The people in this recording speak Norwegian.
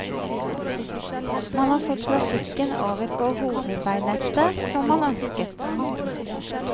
Man har fått trafikken over på hovedveinettet som man ønsket.